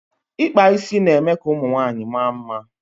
ikpa isi na eme ka ụmụ nwanyịwaanyị maa mma